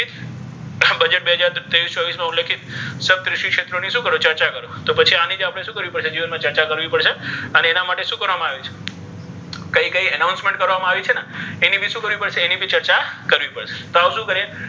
Budget બે હજાર ત્રેવિસ ચોવીસ નુ લેખીત સપ્તઋષિ ક્ષેત્રો ની શુ કરો ચર્ચા કરો તો પછી આની ભી આપણે શુ કરવી પડશે જીવન મા ચર્ચા કરવી પડ્શે અને ઍના માટે શુ કરવામા આવે છે કઇ કઇ announcement કરવામા આવી છે ને ઍની ભી શુ કરવી પડ્શે ઍની ભી ચર્ચા કરવી પડ્શે તો હવે શુ કરીઍ?